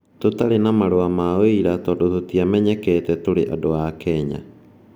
"Tũtarĩ na marũa ma ũira tondũ tũtiamenyekete tũrĩ andũ a Kenya.